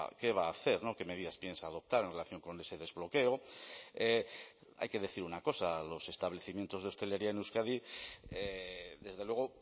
qué va a hacer qué medidas piensa adoptar en relación con ese desbloqueo hay que decir una cosa los establecimientos de hostelería en euskadi desde luego